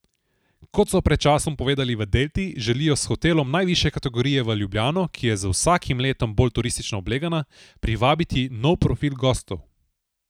Kot so pred časom povedali v Delti, želijo s hotelom najvišje kategorije v Ljubljano, ki je z vsakim letom bolj turistično oblegana, privabiti nov profil gostov.